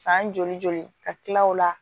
San joli joli ka tila o la